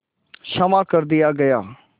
क्षमा कर दिया गया